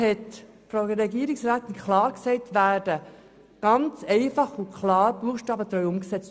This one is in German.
99 Prozent unserer Leistungsverträge werden ganz klar buchstabentreu umgesetzt.